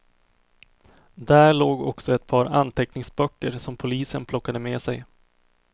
Där låg också ett par anteckningsböcker som polisen plockade med sig.